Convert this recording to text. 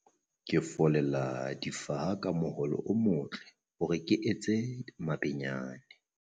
Ke follela difaha ka moloho o motle hore ke etse mabenyane.